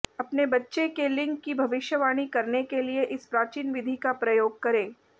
अपने बच्चे के लिंग की भविष्यवाणी करने के लिए इस प्राचीन विधि का प्रयोग करें